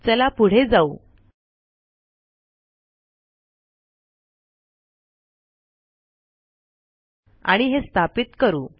चला पुढे जाऊ आणि हे स्थापित करू